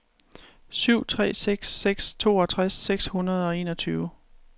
syv tre seks seks toogtres seks hundrede og enogtyve